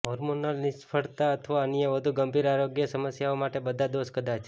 hormonal નિષ્ફળતા અથવા અન્ય વધુ ગંભીર આરોગ્ય સમસ્યાઓ માટે બધા દોષ કદાચ